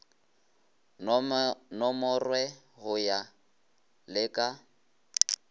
nomorwe go ya le ka